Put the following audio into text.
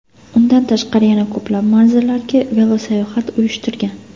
Undan tashqari yana ko‘plab manzillarga velosayohat uyushtirgan.